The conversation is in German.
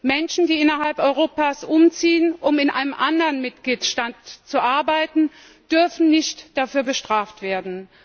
Menschen, die innerhalb Europas umziehen, um in einem anderen Mitgliedstaat zu arbeiten, dürfen nicht dafür bestraft werden.